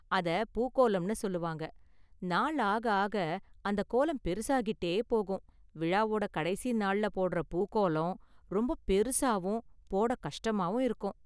அத பூக்கோலம்னு சொல்லுவாங்க, நாள் ஆக ஆக அந்த கோலம் பெருசாக்கிட்டே போகும், விழாவோட கடைசி நாள்ல போடுற பூக்கோலம் ரொம்ப பெருசாவும் போட கஷ்டமாவும் இருக்கும்.